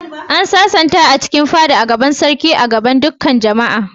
An sasanta a cikin fada a gaban sarki da dukan jama'a.